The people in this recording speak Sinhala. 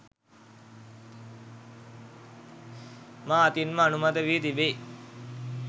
මා අතින් ම අනුමත වී තිබී